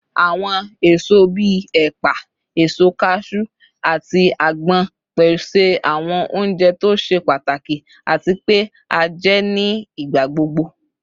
Awọn eso bii epa, eso kaju, ati agbon pese awọn ounjẹ to ṣe pataki ati pe a jẹ ni igbagbogbo